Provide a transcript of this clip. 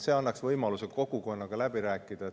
See annaks võimaluse kogukonnaga läbi rääkida.